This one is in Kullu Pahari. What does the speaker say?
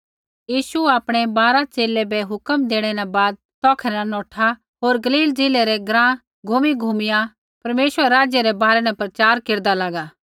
यीशु आपणै बारा च़ेले बै हुक्मा देणै न बाद तौखै न नौठा होर गलील ज़िलै रै ग्राँ घूमीघूमिया परमेश्वरै रै राज्य रै बारै न प्रचार केरदा लागा